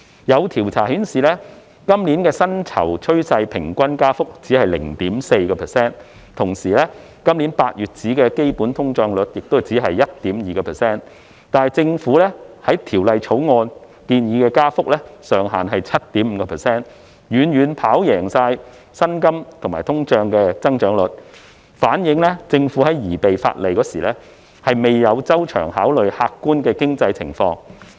有調查顯示，今年薪酬趨勢平均加幅只有 0.4%， 同時，今年8月的基本通脹率也只是 1.2%， 但政府在《條例草案》中建議的租金加幅上限卻是 7.5%， 遠遠跑贏薪金和通賬的增長率，反映政府在擬備法例時，未有周詳考慮客觀經濟狀況。